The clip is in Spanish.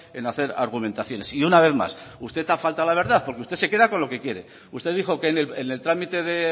en hacer argumentaciones y una vez más usted ha faltado a la verdad porque usted se queda con lo que quiere usted dijo que en el trámite de